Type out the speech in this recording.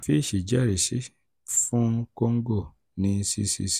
fitch jẹrisi fún congo ní 'ccc'